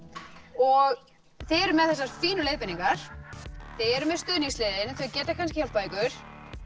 og þið eruð með þessar fínu leiðbeiningar þið eruð með stuðningsliðið þau geta kannski hjálpað ykkur